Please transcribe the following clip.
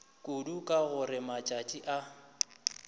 kudu ka gore matšatši a